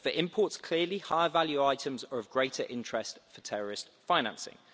For imports, clearly, higher value items are of greater interest for terrorist financing.